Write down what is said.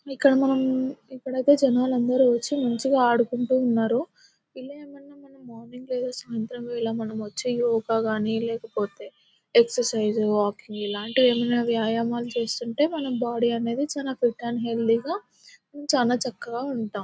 ఇక్కడ మనం ఇక్కడ అయితే జనాలు అందరూ వచ్చి మంచిగా ఆడుకుంటున్నారు ఇలా ఏదైనా మనం మార్నింగ్ లేదా సాయంత్రం వేళ మనం వచ్చి యోగా కానీ లేకపోతే ఎక్సర్సైజెస్ వాకింగ్ ఇలాంటివి ఏవైనా వ్యాయామం చేస్తుంటే మన బాడీ అనేది హెల్తీగా చానా చక్కగా ఉంటాం --